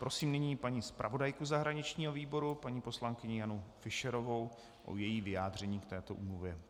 Prosím nyní paní zpravodajku zahraničního výboru, paní poslankyni Janu Fischerovou, o její vyjádření k této úmluvě.